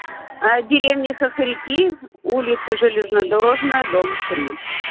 деревня хохряки улица железнодорожная дом три